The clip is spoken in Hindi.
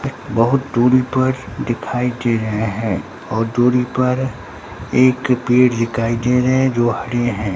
बहुत दूरी पर दिखाई दे रहे हैं और दूरी पर एक पेड़ दिखाई दे रहे हैं जो हड़े हैं।